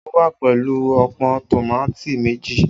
O wa pẹlu ọpọn tomati meji